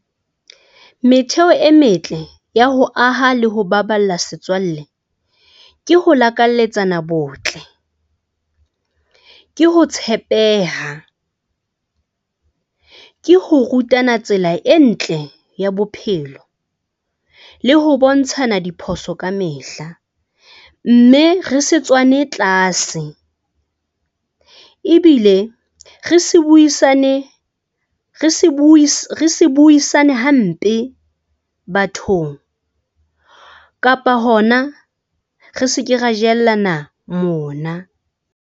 Metheo e metle ya ho aha le ho baballa setswalle ke ho lakalletsana botle, ke ho tshepeha, ke ho rutana tsela e ntle ya bophelo le ho bontshana diphoso ka mehla. Mme re se tswane tlase ebile re se buisane, re se re se buisane hampe bathong kapa hona re se ke ra jellana mona.